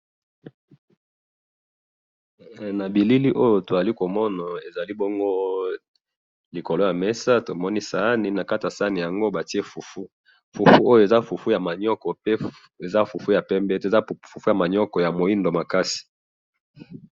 Na moni fufu ya moindo na sani ya pembe.